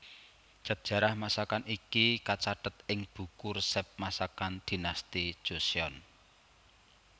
Sejarah masakan iki kacathet ing buku resep masakan Dinasti Joseon